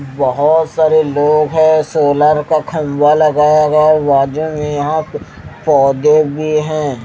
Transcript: बहोत सारे लोग है सोलर का खंजा लगाया गया में यहां पौधे भी हैं।